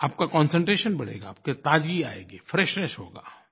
आपका कॉन्सेंट्रेशन बढ़ेगा आपकी ताज़गी आएगी फ्रेशनेस होगा